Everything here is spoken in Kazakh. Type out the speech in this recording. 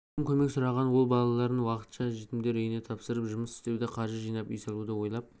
көптен көмек сұраған ол балаларын уақытша жетімдер үйіне тапсырып жұмыс істеуді қаржы жинап үй салуды ойлап